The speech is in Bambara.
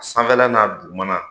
Sanfɛla n'a dugumana.